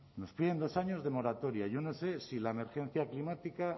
nos piden dos años de moratoria yo no sé si la emergencia climática